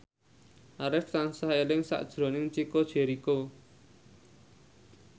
Arif tansah eling sakjroning Chico Jericho